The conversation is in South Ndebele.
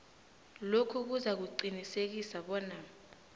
lokhu kuzakuqinisekisa bona